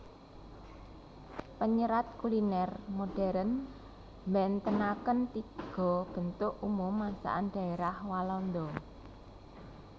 Penyerat kuliner modern mbentenaken tiga bentuk umum masakan daerah Walanda